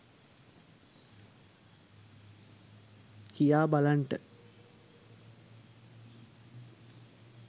කියා බලන්ට.